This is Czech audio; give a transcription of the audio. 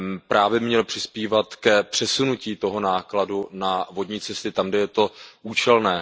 Právě on měl přispívat k přesunutí toho nákladu na vodní cesty tam, kde je to účelné.